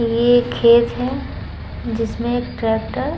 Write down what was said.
ये एक खेत है जिसमें ट्रैक्टर --